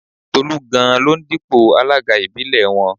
Tolú gan-an ló ń dípò alága ìbílẹ̀ wọn